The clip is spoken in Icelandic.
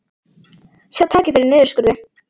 Sjá tækifæri í niðurskurði